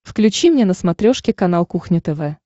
включи мне на смотрешке канал кухня тв